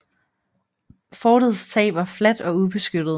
Fortets tag var fladt og ubeskyttet